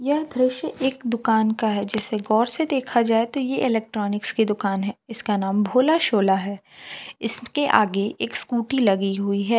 ये दृश्य एक दुकान का है जिसे गौर से देखा जाए तो यह इलेक्ट्रॉनिकस की दुकान है इसका नाम भोला शोला है इसके आगे एक स्कूटी लगी हुई है।